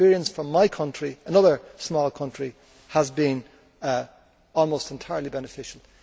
The experience from my country another small country has been almost entirely beneficial.